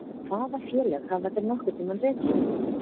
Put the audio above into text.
Hvaða félög hafa þeir nokkurn tíma rekið?